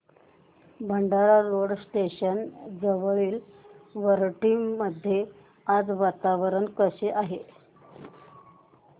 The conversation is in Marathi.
भंडारा रोड स्टेशन जवळील वरठी मध्ये आज वातावरण कसे आहे